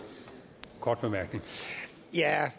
godt